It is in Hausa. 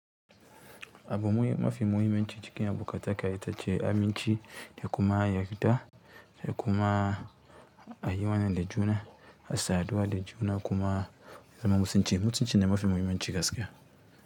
Abune mafi muhimanci cikin abokantaka ita ce aminci, da kuma yarda, da kuma a yi wanan da juna, a saduwa da juna kuma zama mo kan ce. Mutunci ne mafi mahimmanci gaskiya.